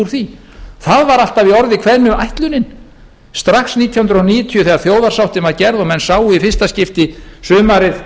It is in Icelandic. því það var alltaf í orði kveðnu ætlunin strax nítján hundruð níutíu þegar þjóðarsáttin var gerð og menn sáu í fyrsta skipti sumarið